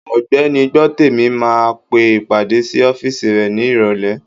Ògbẹ́ni Gbọ́tèmi máa pe ìpàdé sí ọ́físì rẹ̀ ní ìrọ̀lẹ́